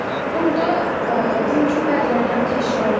Burda bizim üçün bəzi oyunlar təşkil olunub.